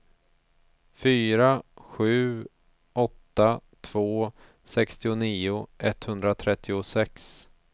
fyra sju åtta två sextionio etthundratrettiosex